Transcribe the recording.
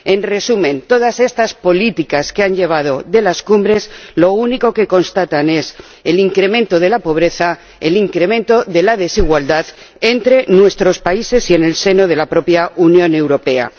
En resumen, con todas estas políticas que se deciden en las cumbres, lo único que se constata es el incremento de la pobreza, el incremento de la desigualdad entre nuestros países y en el seno de la propia Unión Europea.